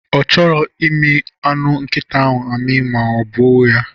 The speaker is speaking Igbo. Ọ chọrọ imi anụ nkita ahụ ma o gbuo ya